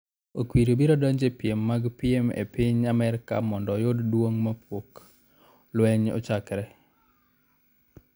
Okwiri biro donjo e piem mag piem e piny Amerka mondo oyud duong' kapok lweny ochakore.